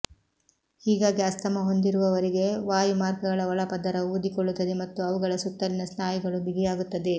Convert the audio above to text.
ಹೀಗಾಗಿ ಅಸ್ತಮಾ ಹೊಂದಿರುವವರಿಗೆ ವಾಯುಮಾರ್ಗಗಳ ಒಳಪದರವು ಊದಿಕೊಳ್ಳುತ್ತದೆ ಮತ್ತು ಅವುಗಳ ಸುತ್ತಲಿನ ಸ್ನಾಯುಗಳು ಬಿಗಿಯಾಗುತ್ತವೆ